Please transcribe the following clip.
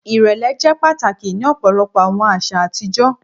Irẹlẹ jẹ pataki ni ọpọlọpọ awọn aṣa atijọ